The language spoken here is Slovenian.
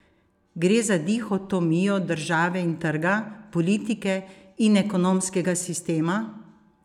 Gre za dihotomijo države in trga, politike in ekonomskega sistema?